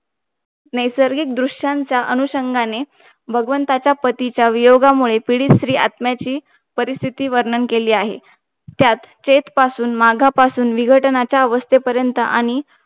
नैसर्गिक दृष्टांच्या अनुषंगाने भगवंताच्या पतीच्या वियोगामुळे पीडित, स्त्री आत्म्याची परिस्थिती वर्णन केली आहे. तेच पासून मागापासून विघटनाच्या अवस्थेपरेंत आणि